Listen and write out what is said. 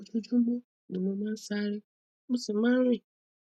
ojoojúmọ ni mo máa ń sáré mo sì máa ń rìn